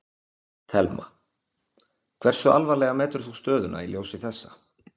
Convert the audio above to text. Telma: Hversu alvarlega metur þú stöðuna í ljósi þessa?